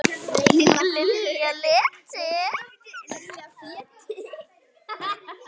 Lalla létti.